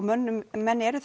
menn eru